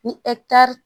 Ni